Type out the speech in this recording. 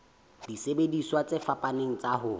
disebediswa tse fapaneng tsa ho